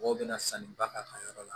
Mɔgɔw bɛna sanni ba k'a ka yɔrɔ la